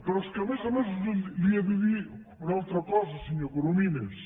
però és que a més a més li he de dir una altra cosa senyor corominas